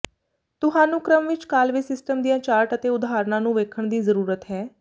ਤੁਹਾਨੂੰ ਕ੍ਰਮ ਵਿੱਚ ਕਾਲਵੇ ਸਿਸਟਮ ਦੀਆਂ ਚਾਰਟ ਅਤੇ ਉਦਾਹਰਨਾਂ ਨੂੰ ਵੇਖਣ ਦੀ ਜ਼ਰੂਰਤ ਹੈ